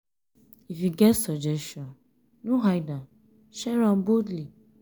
if you get suggestion no hide am; share am boldly.